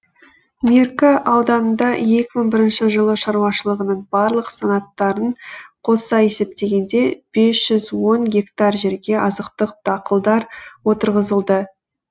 меркі ауданында екі мың бірінші жылы шаруашылығының барлық санаттарын қоса есептегенде бес жүз он гектар жерге азықтық дақылдар отырғызылды